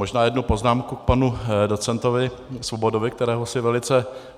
Možná jednu poznámku k panu docentovi Svobodovi, kterého si